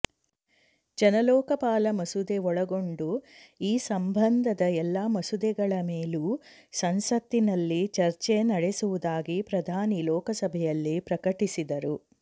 ಜನ ಲೋಕಪಾಲ ಮಸೂದೆ ಒಳಗೊಂಡು ಈ ಸಂಬಂಧದದ ಎಲ್ಲ ಮಸೂದೆಗಳ ಮೇಲೂ ಸಂಸತ್ತಿನಲ್ಲಿ ಚರ್ಚೆ ನಡೆಸುವುದಾಗಿ ಪ್ರಧಾನಿ ಲೋಕಸಭೆಯಲ್ಲಿ ಪ್ರಕಟಿಸಿದರು